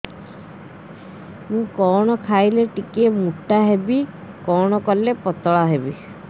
କଣ ଖାଇଲେ ଟିକେ ମୁଟା ହେବି କଣ କଲେ ପତଳା ହେବି